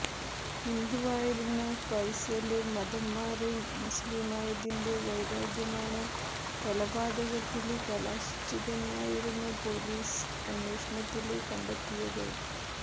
ഹിന്ദുവായിരുന്ന ഫൈസല് മതംമാറി മുസ്ലീമായതിന്റെ വൈരാഗ്യമാണ് കൊലപാതകത്തില് കലാശിച്ചതെന്നായിരുന്നു പൊലീസ് അന്വേഷണത്തില് കണ്ടെത്തിയത്